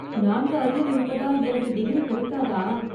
நான்கு அரியர் இருப்பதால் எனக்கு டிகிரி கிடைக்காதா?